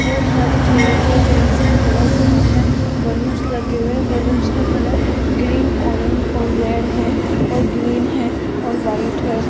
बहोत सारी चेयर है चेयरस् का कलर ब्राउन है बैलूनस लगे हुए बलूंस का कलर ग्रीन ऑरेंज और रेड है और ग्रीन है और व्हाइट है।